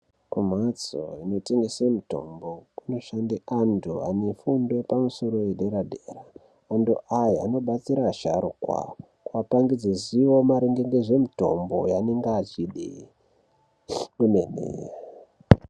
Kumhatso inotengese mitombo kunoshanda anthu ane fundo yepamusoro yedera dera anthu aya anobatsira asharukwa apangidze ziya maringe ngezvemitombo yaanenge achide kwemene.